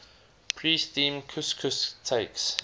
pre steamed couscous takes